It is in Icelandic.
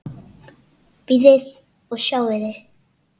Bíðið og sjáið!